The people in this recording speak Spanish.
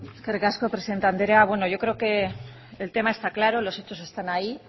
eskerrik asko presidente andrea bueno yo creo que el tema está claro los hechos están ahí